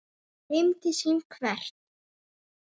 Heim til sín hvert?